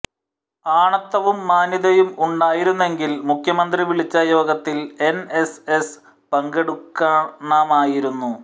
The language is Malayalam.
ആണത്തവും മാന്യതയും ഉണ്ടായിരുന്നെങ്കിൽ മുഖ്യമന്ത്രി വിളിച്ച യോഗത്തിൽ എൻഎസ്എസ് പങ്കെടുക്കണമായിരുന്നു